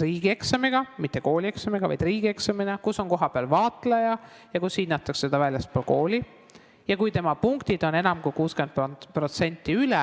riigieksamiga – mitte koolieksamiga, vaid riigieksamiga –, kus on kohapeal vaatleja ja seda hinnatakse väljaspool kooli, ning punkte peab olema enam kui 60%.